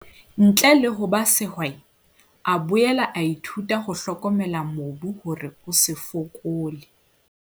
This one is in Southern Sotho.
Ntle le ho ba sehwai, a boela a ithuta ho hlokomela mobu hore o se fokole.